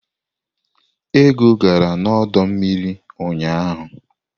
Ego gara n'ọdọ mmiri ụnyaahụ?